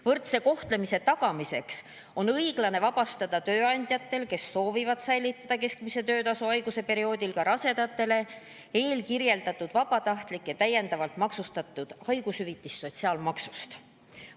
Võrdse kohtlemise tagamiseks on õiglane tööandjate puhul, kes soovivad säilitada keskmise töötasu haiguse perioodil ka rasedatele, vabastada eelkirjeldatud vabatahtlik täiendav haigushüvitis sotsiaalmaksust.